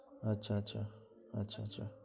আচ্ছা আচ্ছা আচ্ছা আচ্ছা